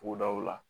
Togodaw la